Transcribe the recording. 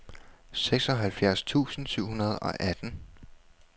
seksoghalvfjerds tusind syv hundrede og atten